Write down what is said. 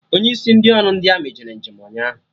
Onye isi ndị ọrụ ndi amị jere njem ụnyaahụ